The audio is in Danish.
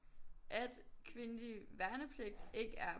At kvindelig værnepligt ikke er